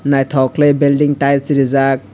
naitok kelai belding tiles rijak.